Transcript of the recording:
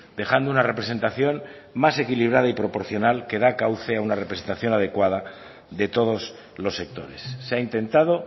dejando una representación más equilibrada y proporcional que da cauce a una representación adecuada de todos los sectores se ha intentado